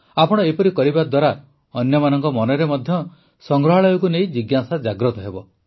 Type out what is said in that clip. ଆପଣ ଏପରି କରିବା ଦ୍ୱାରା ଅନ୍ୟମାନଙ୍କ ମନରେ ମଧ୍ୟ ସଂଗ୍ରହାଳୟକୁ ନେଇ ଜିଜ୍ଞାସା ଜାଗ୍ରତ ହେବ